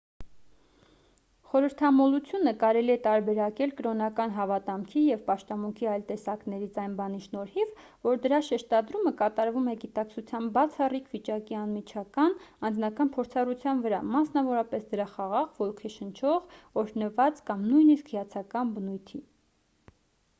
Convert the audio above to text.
խորհրդամոլությունը կարելի է տարբերակել կրոնական հավատամքի և պաշտամունքի այլ տեսակներից այն բանի շնորհիվ որ դրա շեշտադրումը կատարվում է գիտակցության բացառիկ վիճակի անմիջական անձնական փորձառության վրա մասնավորապես դրա խաղաղ ոգեշնչող օրհնված կամ նույնիսկ հիացական բնույթի